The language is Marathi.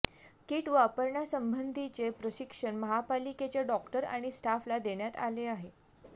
किट वापरण्या संबंधीचे प्रशिक्षण महापालिकेच्या डॉक्टर आणि स्टाफला देण्यात आले आहे